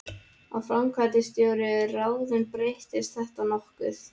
Ef framkvæmdastjóri er ráðinn breytist þetta nokkuð.